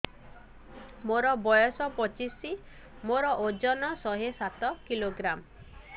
ମୋର ବୟସ ପଚିଶି ମୋର ଓଜନ ଶହେ ସାତ କିଲୋଗ୍ରାମ